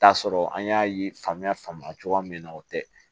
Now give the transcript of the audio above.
T'a sɔrɔ an y'a ye faamuya faamuya cogoya min na o tɛ